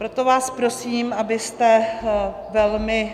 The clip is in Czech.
Proto vás prosím, abyste velmi